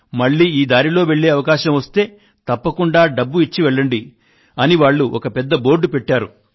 మళ్ళీ ఈ దారిలో వెళ్ళే అవకాశం వస్తే తప్పకుండా డబ్బు ఇచ్చి వెళ్ళండి అని వాళ్ళు ఒక పెద్ద బోర్డు పెట్టారు